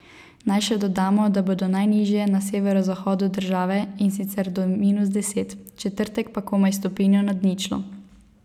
Naj še dodamo, da bodo najnižje na severozahodu države, in sicer do minus deset, v četrtek pa komaj stopinjo nad ničlo.